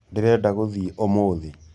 Ndĩrenda gũthĩĩ ũmũthĩ.